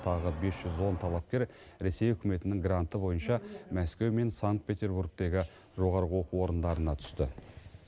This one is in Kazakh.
тағы бес жүз он талапкер ресей үкіметінің гранты бойынша мәскеу мен санкт петербургтегі жоғарғы оқу орындарына түсті